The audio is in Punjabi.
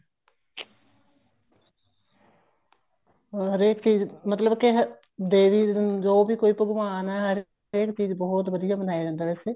ਹਰੇਕ ਚੀਜ਼ ਮਤਲਬ ਕੇ ਦੇਵੀ ਜੋ ਵੀ ਕੋਈ ਭਗਵਾਨ ਹੈ ਹਰੇਕ ਚੀਜ਼ ਬਹੁਤ ਵਧੀਆ ਮਨਾਇਆ ਜਾਂਦਾ ਵੈਸੇ